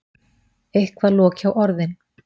Eitthvað loki á orðin.